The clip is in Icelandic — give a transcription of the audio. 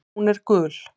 Hún er gul.